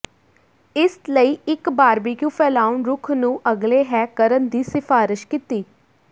ਇਸ ਲਈ ਇੱਕ ਬਾਰਬਿਕਯੂ ਫੈਲਾਉਣ ਰੁੱਖ ਨੂੰ ਅਗਲੇ ਹੈ ਕਰਨ ਦੀ ਸਿਫਾਰਸ਼ ਕੀਤੀ